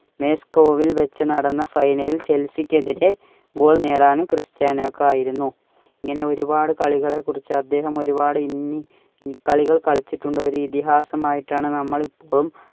മേസ്‌കോവിൽ വെച്ച് നടന്ന final ൽ ചെല്സിക്ക് എതിരെ goal നേടാനും ക്രിസ്ത്യാനോയ്ക് ആയിരുന്നു. ഇങ്ങനെ ഒരുപാടു കളികളെ കുറിച്ച് അദ്ദേഹം ഒരുപാട് ഇന്നി~കളികൾ കളിച്ചിട്ടുണ്ട്. ഒരു ഇതിഹാസമായിട്ടാണ് നമ്മളിപ്പോഴും